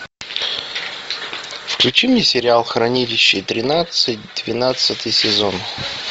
включи мне сериал хранилище тринадцать двенадцатый сезон